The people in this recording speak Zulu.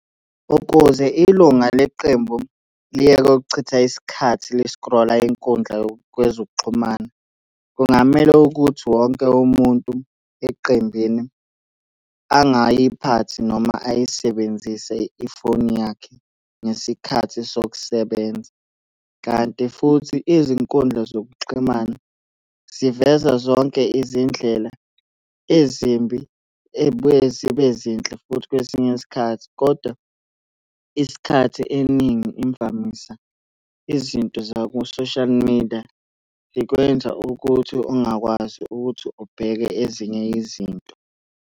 Ukuze ilunga leqembu liyeke ukuchitha isikhathi lisikrola inkundla yokwezokuxhumana kungamele ukuthi wonke umuntu eqembini, angayiphathi noma ayisebenzise ifoni yakhe ngesikhathi sokusebenza, kanti futhi izinkundla zokuxhumana siveza zonke izindlela ezimbi ey'buye zibe zinhle futhi kwesinye isikhathi, kodwa isikhathi eningi imvamisa izinto zaku-social media zikwenza ukuthi ungakwazi ukuthi ubheke ezinye izinto.